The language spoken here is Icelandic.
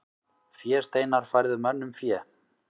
Fésteinar færðu mönnum fé.